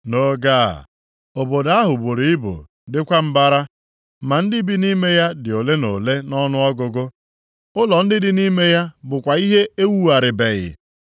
Nʼoge a obodo ahụ buru ibu dịkwa mbara, ma ndị bi nʼime ya dị ole na ole nʼọnụọgụgụ, ụlọ ndị dị nʼime ya bụkwa ihe ewugharịbeghị.